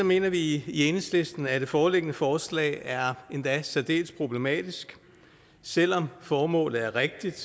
mener vi i enhedslisten at det foreliggende forslag er endda særdeles problematisk selv om formålet er rigtigt